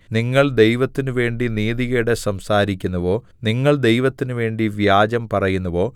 നിങ്ങൾ ദൈവത്തിനുവേണ്ടി നീതികേട് സംസാരിക്കുന്നുവോ നിങ്ങൾ ദൈവത്തിനുവേണ്ടി വ്യാജം പറയുന്നുവോ